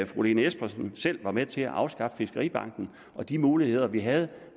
fru lene espersen selv var med til at afskaffe fiskeribanken og de muligheder vi havde